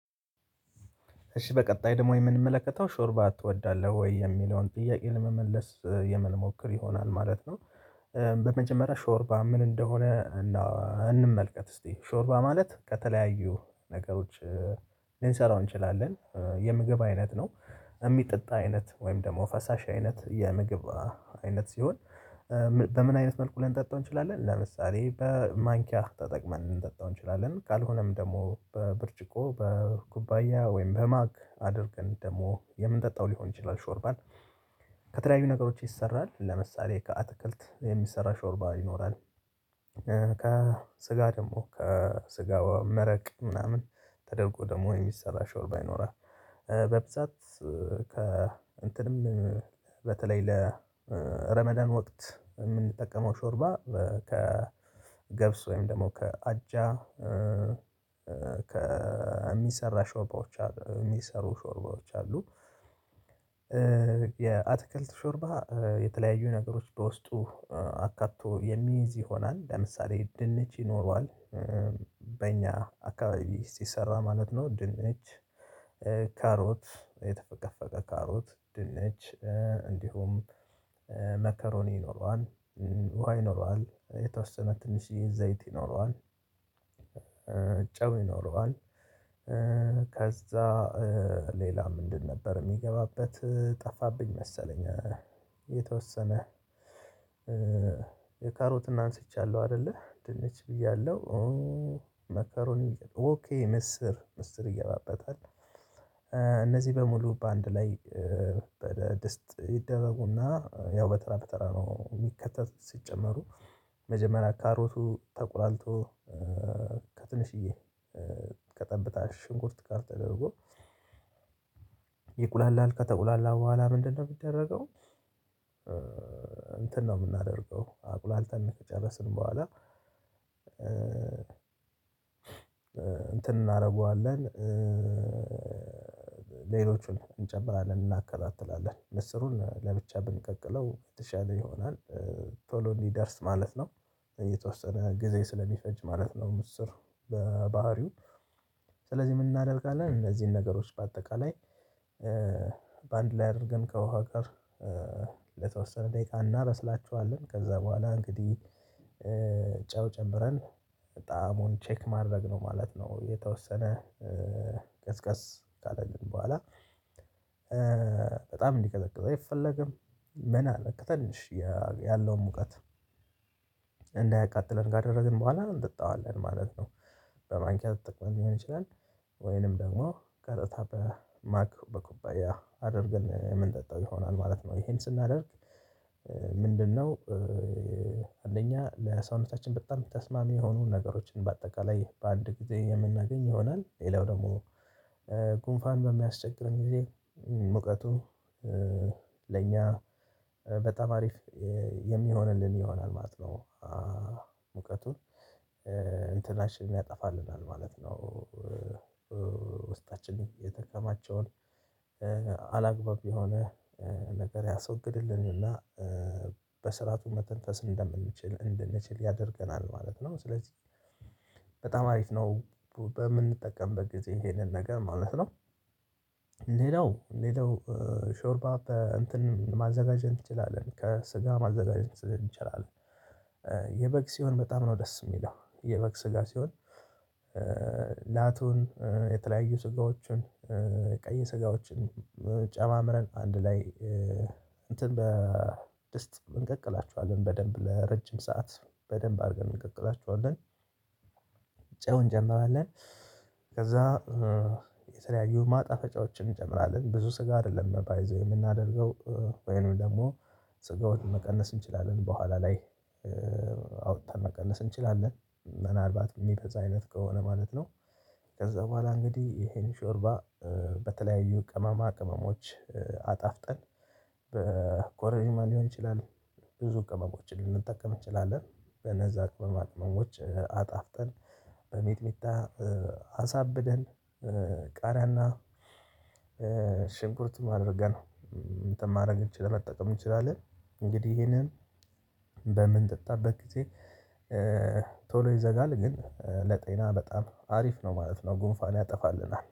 እሺ በቀጣይ ደግሞ የምንመለከተው ሾርባ ትወዳለህ ወይ የሚለውን ጥያቄ ለመመለስ የምንሞክር ይሆናል ማለት ነው። በመጀመሪያ ሾርባ ምን እንደሆነ። እንመልከት እስቲ ሾርባ ማለት ከተለያዩ ነገሮች ልንሰራው እንችላለን የምግብ አይነት ነው። የሚጠጣ አይነት ወይም ደግሞ ፈሳሽ አይነት የምግብ አይነት ሲሆን። በምን አይነት መልኩ ልንጠጣው እንችላለን ለምሳሌ በማንኪያ ተጠቅመን ልንጠጣው እንችላለን ካልሆነም ደግሞ በብርጭቆ በኩባያ ወይም በማክ አድርገን ደግሞ የምንጠጣው ሊሆን ይችላል። ሾርባን ከተለያዩ ነገሮች ይሰራል ለምሳሌ ከአትክልት የሚሰራ ሾርባ ይኖራል። ከስጋ ደግሞ ከስጋ መረቅ ምናምን ተደርጎ ደግሞ የሚሰራ ሸወርባ ይኖራል። በብዛት ከ እንትንም በተለይ ለረመዳን ወቅት የምንጠቀመው ሾርባ ከገብስ ወይም ደግሞ ከአጃ የሚሰራ ሾርባዎች አሉ የሚሰሩ ሾርባዎች አሉ። የአትክልት ሾርባ የተለያዩ ነገሮች በውስጡ አካቶ የሚይዝ ይሆናል ለምሳሌ ድንች ይኖረዋል። በእኛ አካባቢ ሲሰራ ማለት ነው። ድንች ካሮት የተፈቀፈቀ ካሮት ድንች እንዲሁም መከሮኒ ይኖረዋል። ውሃ ይኖረዋል የተወሰነ ትንሽ ዘይት ይኖረዋል። ጨው ይኖረዋል። ከዛ ሌላ ምንድን ነበር የሚገባበት ጠፋብኝ መሰለኝ። የተወሰነ የካሮትና አንስቻለሁ አይደለ ድንች ብያለሁ መከሮኒ ኦኬ ምስር ምስር ይገባበታል። እነዚህ በሙሉ በአንድ ላይ በድስት ይደረጉና ያው በተራ በተራ ነው የሚከተት ሲጨመሩ። መጀመሪያ ካሮቱ ተቆላልቶ ከትንሽዬ ከጠብታ ሽንኩርት ጋር ተደርጎ ይቁላል ከተቁላላ በኋላ ምንድነው የሚደረገው? እንትን ነው የምናደርገው አቁላልተን ከጨረስን በኋላ እንትን እናደርገዋለን። ሌሎቹን እንጨምራለን እናከታትላለን ምስሩን ለብቻ ብንቀቅለው የተሻለ ይሆናል። ቶሎ እንዲደርስ ማለት ነው። የተወሰነ ጊዜ ስለሚፈጅ ማለት ነው። ምስር በባህሪው ስለዚህ ምን እናደርጋለን እነዚህን ነገሮች በአጠቃላይ ላይ አድርገን ከውሃ ጋር ለተወሰነ ደቂቃ እናብስላችኋለን። ከዛ በኋላ እንግዲህ ጨው ጨምረን ጣዓሙን ቼክ ማድረግ ነው ማለት ነው። የተወሰነ ካለልን በኋላ በጣም እንዲቀዘቅዝ አይፈለግም። ምን አለ ትንሽ ያለውን ሙቀት እንዳያቃጥለን ካደረግን በኋላ እንጠጣዋለን ማለት ነው። በማንኪያ ተጠቅመን ሊሆን ይችላል ወይንም ደግሞ ቀጥታ በማክ በኩባያ አድርገን የምንጠጣው ይሆናል ማለት ነው። ይሄን ስናደርግ ምንድነው? አንደኛ ለሰውነታችን በጣም ተስማሚ የሆኑ ነገሮችን በአጠቃላይ በአንድ ጊዜ የምናገኝ ይሆናል። ሌላው ደግሞ ጉንፋን በሚያስቸግርን ጊዜ ሙቀቱ ለእኛ በጣም አሪፍ የሚሆንልን ይሆናል ማለት ነው። ሙቀቱን እንትናችንን ያጠፋልናል ማለት ነው። ውስጣችንን የተከማቸውን አላግባብ የሆነ ነገር ያስወግድልንና በስርዓቱ መተንፈስ እንደምንችል እንድንችል ያደርገናል ማለት ነው። ስለዚህ በጣም አሪፍ ነው። በምንጠቀምበት ጊዜ ይሄንን ነገር ማለት ነው። ሌላው ሌላው ሾርባ በእንትን ማዘጋጀት እንችላለን ከስጋ ማዘጋጀት ይቻላል። የበግ ሲሆን በጣም ነው ደስ የሚለው የበግ ስጋ ሲሆን ላቱን የተለያዩ ስጋዎችን ቀይ ስጋዎችን ጨማምረን አንድ ላይ እንትን በድስት እንቀቅላችኋለን በደንብ ለረጅም ሰዓት በደንብ አድርገን እንቀቅላችኋለን። ጨው እንጨምራለን ከዛ የሰለያዩ ማጣፈጫዎችን እንጨምራለን ብዙ ስጋ አይደለም ባይ ዘ ዌይ የምናደርገው። ወይንም ደግሞ ስጋውን መቀነስ እንችላለን በኋላ ላይ አውጥተን መቀነስ እንችላለን። ምናልባት የሚበዛ አይነት ከሆነ ማለት ነው። ከዛ በኋላ እንግዲህ ይሄን ሾርባ በተለያዩ ቅመማ ቅመሞች አጣፍጠን በኮረርማ ሊሆን ይችላል። ብዙ ቅመሞችን ልንጠቀም እንችላለን በነዛ ቅመማቅመሞች አጣፍጠን በሚጥሚጣ አሳብደን ቃሪያና ሽንኩርትም አድርገን እንትን ማድረግ እንችላለን መጠቀም እንችላለን። እንግዲህ እሄንን በምንጠጣበት ጊዜ ቶሎ ይዘጋል ግን ለጤና በጣም አሪፍ ነው ማለት ነው። ጉንፋን ያጠፋልናል